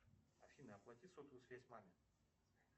афина оплати сотовую связь маме